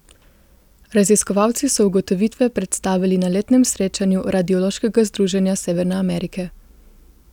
Raziskovalci so ugotovitve predstavili na letnem srečanju Radiološkega združenja Severne Amerike.